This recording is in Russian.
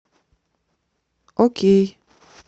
окей